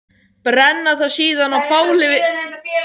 Brenna það síðan á báli við stríðsdans.